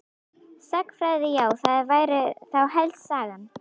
Sagnfræði já það væri þá helst Sagan.